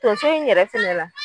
Tonso in yɛrɛ fɛnɛ la.